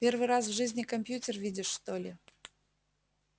первый раз в жизни компьютер видишь что ли